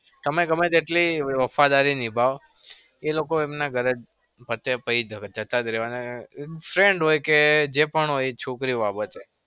તમે ગમે એટલી વફાદારી નિભાવો, એ લોકો એમના ગરજ પતે પછી જતા જ રેવાના. friend હોય કે જે પણ છોકરી બાબતે.